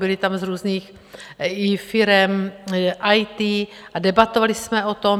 Byli tam z různých i firem IT a debatovali jsme o tom.